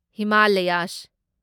Himalayas